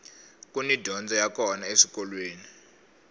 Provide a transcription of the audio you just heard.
kuni dyondzo ya kona eswikolweni